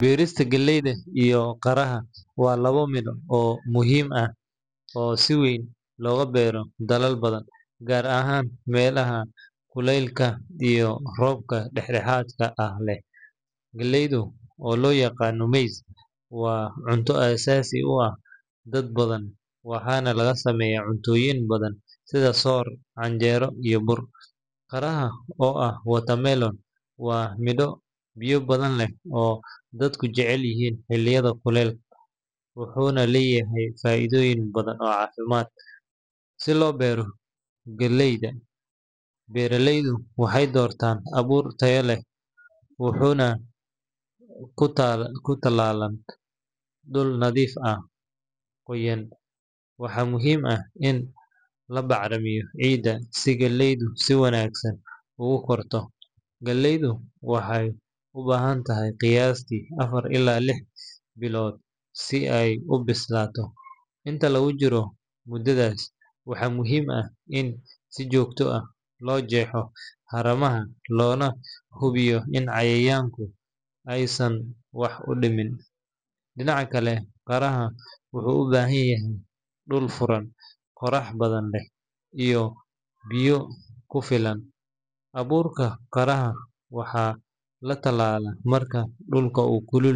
Berista galeyda iyo qaraha waa lawo miid oo muhiim ah oo siweyn loga beero dalal gar ahan melaha kulelka iyo robka dex daxadka leh, galeydu oo lo yaqano maize waa miid asasi u ah dad badan , waxana laga sameyaa cunto badan, wuxuuna kutalala dul nadhiif ah, galeydu waxee u bahantahy qiyastu lix bilood si ee u bislato, inta lagu jiro mudadhas waxaa fican in lajexo, aburka qiraha waxaa la talala dullka u kulul.